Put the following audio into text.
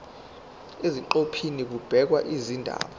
eziqephini kubhekwe izindaba